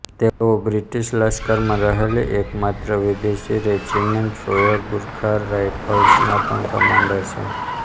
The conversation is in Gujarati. તેઓ બ્રિટીશ લશ્કરમાં રહેલી એક માત્ર વિદેશી રેજીમેન્ટ રોયલ ગુરખા રાયફલ્સના પણ કમાન્ડર છે